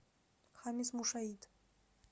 хамис мушаит